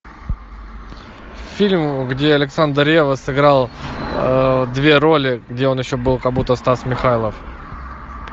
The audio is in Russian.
фильм где александр ревва сыграл две роли где он еще был как будто стас михайлов